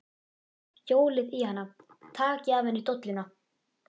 Hjólið í hana. takið af henni dolluna!